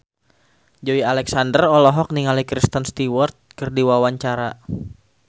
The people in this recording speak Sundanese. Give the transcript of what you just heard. Joey Alexander olohok ningali Kristen Stewart keur diwawancara